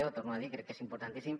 ho torno a dir crec que és importantíssim